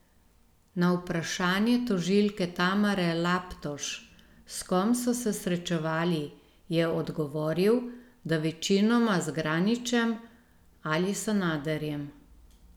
Na vprašanje tožilke Tamare Laptoš, s kom so se srečevali, je odgovoril, da večinoma z Granićem ali Sanaderjem.